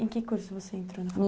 Em que curso você entrou na faculdade?